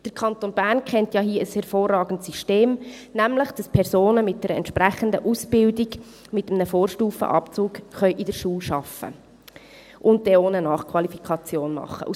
Der Kanton Bern kennt hier ja ein hervorragendes System, indem Personen mit entsprechender Ausbildung mit einem Vorstufenabzug in der Schule arbeiten und dann auch eine Nachqualifikation machen können.